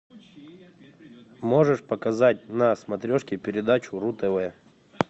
можешь показать на смотрешке передачу ру тв